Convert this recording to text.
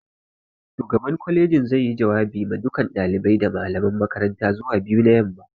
Shugaban kwalejin zai yi jawabi ma dukan ɗalibai da malaman makaranta zuwa 2pm